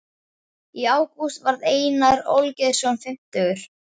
Í ágúst varð Einar Olgeirsson fimmtugur.